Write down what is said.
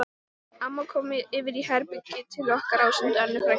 Amma kom yfir í herbergið til okkar ásamt Önnu frænku